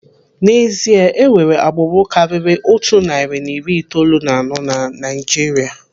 N'ezie, enwere agbụrụ karịrị otu narị na iri itoolu na anọ na Naijiria.